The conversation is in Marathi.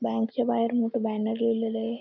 बँकच्या बाहेर मोठं बॅनर लिहिलेल ए.